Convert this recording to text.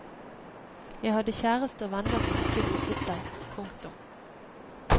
Jeg hadde kjæreste og venner som ikke ruset seg. punktum